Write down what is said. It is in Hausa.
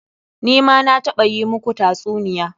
Ni ma na taɓa yi muku tatsuniya.